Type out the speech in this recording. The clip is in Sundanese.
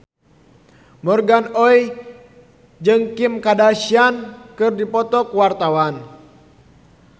Morgan Oey jeung Kim Kardashian keur dipoto ku wartawan